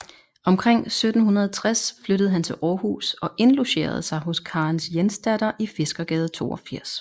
Omkring 1760 flyttede han til Århus og indlogerede sig hos Karens Jensdatter i Fiskergade 82